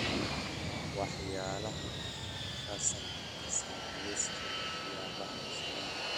waxyaalaha fasaxa ka saar liiska waxyaabaha la sameeyo